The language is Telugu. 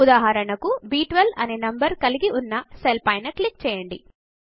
ఉదాహరణకు బ్12 అనే నంబర్ ను కలిగి ఉన్న సెల్ పైన క్లిక్ చేయండి